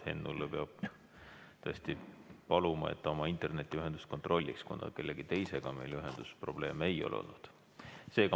Hennult peab tõesti paluma, et ta oma internetiühendust kontrolliks, kuna kellegi teisega meil ühendusprobleeme ei ole olnud.